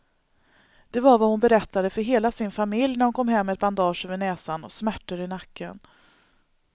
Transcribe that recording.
Det var vad hon berättade för hela sin familj när hon kom hem med ett bandage över näsan och smärtor i nacken.